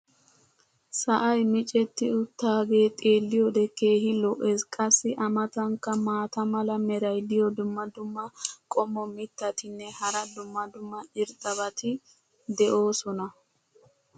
sa"ay micceti utaagee xeeliyoode keehi lo'ees. qassi a matankka maata mala meray diyo dumma dumma qommo mittatinne hara dumma dumma irxxabati de'oosona.